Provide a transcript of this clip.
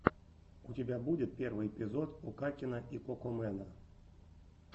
у тебя будет первый эпизод окакена и кокомэна